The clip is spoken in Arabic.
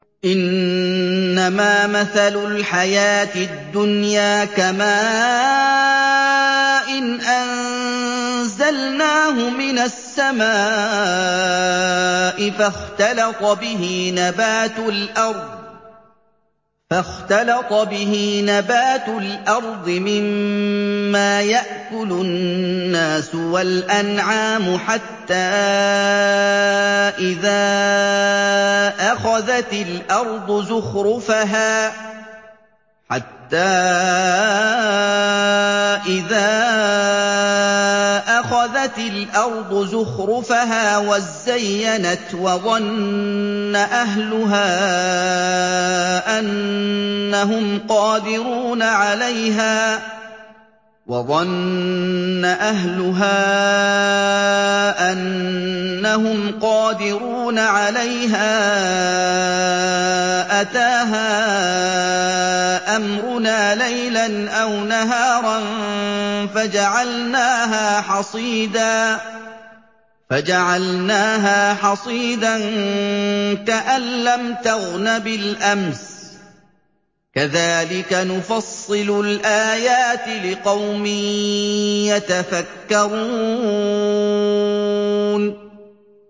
إِنَّمَا مَثَلُ الْحَيَاةِ الدُّنْيَا كَمَاءٍ أَنزَلْنَاهُ مِنَ السَّمَاءِ فَاخْتَلَطَ بِهِ نَبَاتُ الْأَرْضِ مِمَّا يَأْكُلُ النَّاسُ وَالْأَنْعَامُ حَتَّىٰ إِذَا أَخَذَتِ الْأَرْضُ زُخْرُفَهَا وَازَّيَّنَتْ وَظَنَّ أَهْلُهَا أَنَّهُمْ قَادِرُونَ عَلَيْهَا أَتَاهَا أَمْرُنَا لَيْلًا أَوْ نَهَارًا فَجَعَلْنَاهَا حَصِيدًا كَأَن لَّمْ تَغْنَ بِالْأَمْسِ ۚ كَذَٰلِكَ نُفَصِّلُ الْآيَاتِ لِقَوْمٍ يَتَفَكَّرُونَ